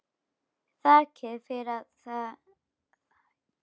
Þakkaði fyrir að það var svona dimmt.